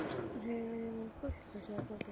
Hann hefur verið með hvolpinn, sagði pabbi.